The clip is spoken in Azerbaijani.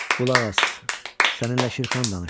Qulaq as, səninlə Şirxan danışır.